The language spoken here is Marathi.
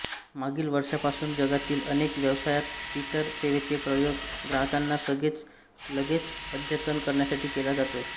मागील वर्षापासून जगातील अनेक व्यवसायात ट्विटर सेवेचे प्रयोग ग्राहकांना लगेच अद्यतन करण्यासाठी केला जातोए